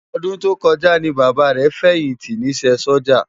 Òdún tókòjá ni Baba rè fèyinti nisè Sójá